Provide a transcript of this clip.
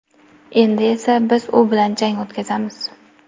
Endi esa biz u bilan jang o‘tkazamiz.